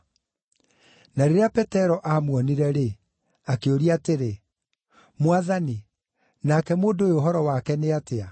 Na rĩrĩa Petero aamuonire-rĩ, akĩũria atĩrĩ, “Mwathani, nake mũndũ ũyũ ũhoro wake nĩ atĩa?”